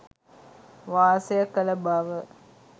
වාසය කළ බව